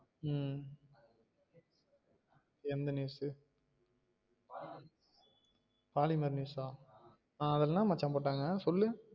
உம் எந்த news Polimer news அ ஆஹ் அதுல என்ன மச்சா போட்டாங்க சொல்லு?